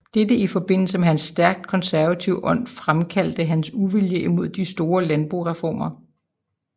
Dette i forbindelse med hans stærkt konservative ånd fremkaldte hans uvilje imod de store landboreformer